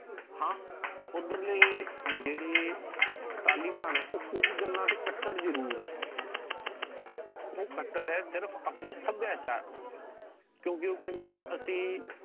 ਹਾਂ ਓਧਰ ਲੈ ਜੇੜੇ ਤਾਲਿਬਾਨ ਹੈ ਓ ਕੁੱਜ ਗੱਲਾਂ ਚੇ ਕਟਰ ਜਰੂਰ ਹੈ। ਉਹ ਕਟਰ ਹੈ ਸਿਰਫ ਆਪਣੇ ਸੱਭਿਆਚਾਰ ਦੇ ਲੀਯੇ। ਕਿਉਕਿ ਉਹ ਕਹਿੰਦੇ ਵੀ ਅਸੀਂ